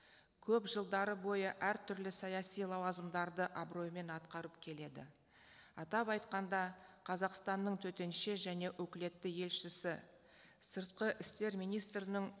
көп жылдар бойы әртүрлі саяси лауазымдарды абыроймен атқарып келеді атап айтқанда қазақстанның төтенше және өкілетті елшісі сыртқы істер министрінің